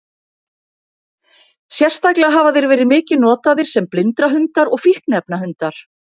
Sérstaklega hafa þeir verið mikið notaðir sem blindrahundar og fíkniefnahundar.